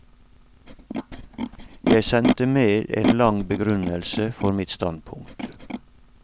Jeg sendte med en lang begrunnelse for mitt standpunkt.